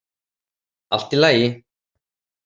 Allt í lagi